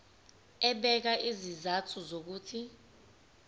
ebeka izizathu zokuthi